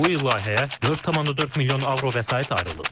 Bu il layihəyə 4,4 milyon avro vəsait ayrılıb.